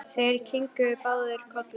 Þeir kinkuðu báðir kolli.